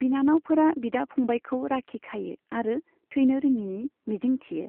बिनानावफोरा बिदा फंबायखौ राखि खायो आरो थैनो रोङिनि मिजिंथियो।